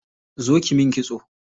Zo kiyi min kitso.